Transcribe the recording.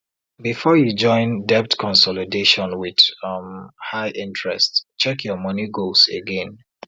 before you join debt consolidation with um high interest check your money goals again